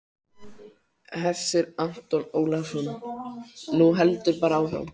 Hersir Aron Ólafsson: Nú heldurðu bara áfram?